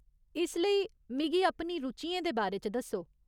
इसलेई, मिगी अपनी रुचियें दे बारे च दस्सो।